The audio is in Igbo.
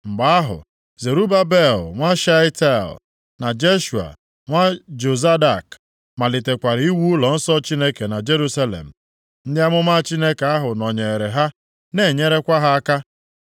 Mgbe ahụ, Zerubabel nwa Shealtiel, na Jeshua nwa Jozadak malitekwara iwu ụlọnsọ Chineke nʼJerusalem. Ndị amụma Chineke ahụ nọnyeere ha na-enyekwara ha aka.